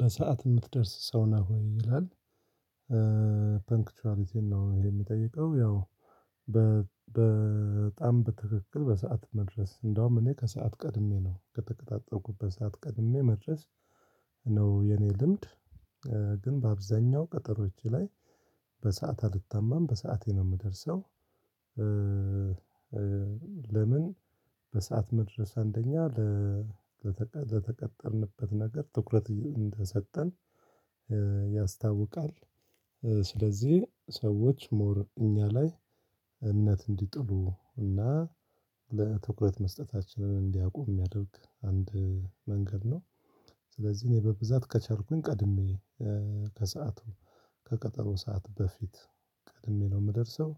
በሰአት የምትደርስ ሰው ነህ ወይ ይላል? ፐንክቹዋሊቲን ነው ይሄ የምጠይቀው ያው በጣም በትክክል በሰአት መድረስ እንደውም እኔ ከሰአት ቀድሜ ነው ከተቀጣጠርኩበት ሰዓት ቀድሜ መድረስ። ነው የኔ ልምድ። ግን በአብዛኛው ቀጠሮች ላይ በሰአት አልታማም በሰአቴ ነው የምደርሰው። ለምን? በሰአት መድረስ አንደኛ ለተቀጠርንበት ነገር ትኩረት እንደሰጠን ያስታውቃል። ስለዚህ ሰዎች ሞር እኛ ላይ እምነት እንዲጥሉ እና ለትኩረት መስጠታችንን እንዲያቆም የሚያደርግ አንድ መንገድ ነው። ስለዚህ እኔ በብዛት ከቻልኩኝ ቀድሜ ከሰአቱ ከቀጠሮ ሰዓት በፊት ቀድሜ ነው የምደርሰው።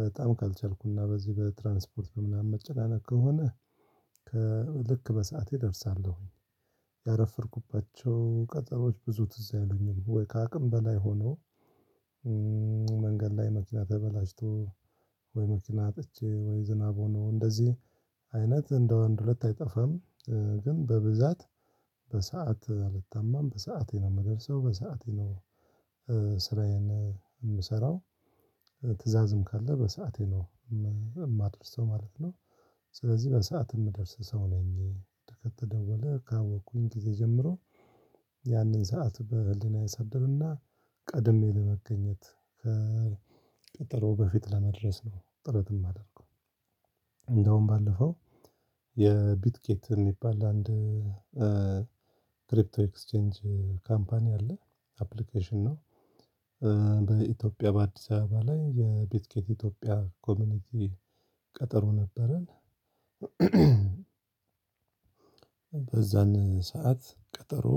በጣም ካልቻልኩና በዚህ በትራንስፖርት በምናምን መጨናነቅ ከሆነ ልክ በሰአቴ እደርሳለሁኝ። ያረፈ ድኩባቸው ቀጠሮዎች ብዙ ትዝ አይሉኝም ወይ ከአቅም በላይ ሁኖ። መንገድ ላይ መኪና ተበላሽቶ ወይ መኪና አጥቼ ወይ ዝናብ ሆኖ እንደዚህ አይነት እንደው አንድ ሁለት አይጠፋም። ግን በብዛት በሰአት አልታማም በሰአቴ ነው የምደርሰው በሰአቴ ነው። ስራዬን የምሰራው። ትዕዛዝም ካለ በሰአቴ ነው የማድርሰው ማለት ነው ማለት ነው። ስለዚህ በሰአት የምደርስ ሰው ነኝ። ከተደወለ ካወቅኩኝ ጊዜ ጀምሮ ያንን ሰዓት በህሊና አሳድርና ቀድሜ ለመገኘት ከቀጠሮ በፊት ለመድረስ ነው ጥረት የማደረገው። እንደውም ባለፈው የቢትኬት የሚባል አንድ ክሪፕቶ ኤክስቼንጅ ካምፓኒ አለ። አፕሊኬሽን ነው። በኢትዮጵያ በአዲስ አበባ ላይ የቤት ኬት ኢትዮጵያ ኮሚኒቲ ቀጠሮ ነበረን። በዛን ሰዓት ቀጠሮ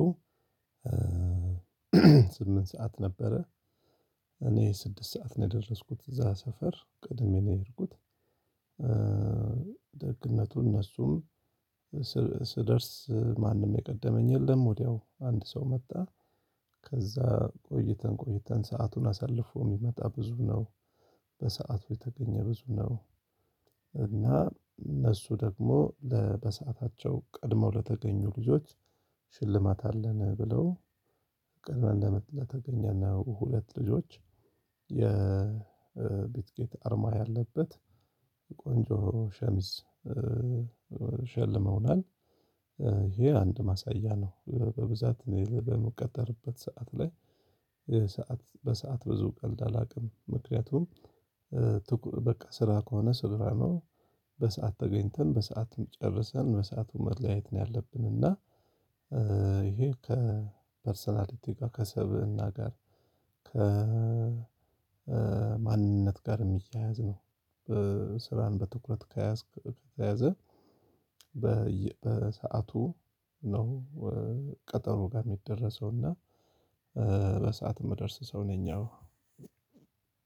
ስምንት ሰዓት ነበረ። እኔ ስድስት ሰዓት ነው የደረስኩት እዛ ሰፈር ቅድሜ ነው የሄድኩት። ደግነቱ እነሱም ስደርስ ማንም የቀደመኝ የለም። ወዲያው አንድ ሰው መጣ። ከዛ ቆይተን ቆይተን ሰአቱን አሳልፎ የሚመጣ ብዙ ነው። በሰአቱ የተገኘ ብዙ ነው። እና እነሱ ደግሞ ለበሰአታቸው ቀድመው ለተገኙ ልጆች ሽልማት አለን ብለው ቅድመን ለተገኜ ነው ሁለት ልጆች የቤት ኬት አርማ ያለበት ቆንጆ ሸሚዝ ሸልመውናል። ይሄ አንድ ማሳያ ነው በብዛት በመቀጠርበት ሰዓት ላይ ሰዓት በሰአት ብዙ ቀልድ አላውቅም ምክንያቱም። በቃ ስራ ከሆነ ስራ ነው። በሰአት ተገኝተን በሰአትም ጨርሰን በሰአቱ መለያየት ነው ያለብን እና ይሄ ከፐርሰናሊቲ ጋር ከሰብእና ጋር ከ ከማንነት ጋር የሚያያዝ ነው። በስራን በትኩረት ከያዝክ ከያዘ በሰአቱ ነው። ቀጠሮ ጋር የሚደረሰው እና በሰአት የምደርስ ሰው ነኝ። ያው